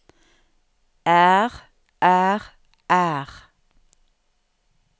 er er er